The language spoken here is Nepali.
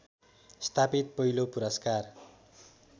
स्थापित पहिलो पुरस्कार